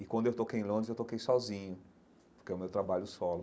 E quando eu toquei em Londres, eu toquei sozinho, porque é o meu trabalho solo.